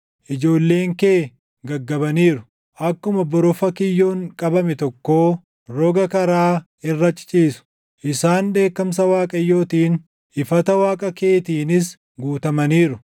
Ijoolleen kee gaggabaniiru; akkuma borofa kiyyoon qabame tokkoo, roga karaa irra ciciisu. Isaan dheekkamsa Waaqayyootiin, ifata Waaqa keetiinis guutamaniiru.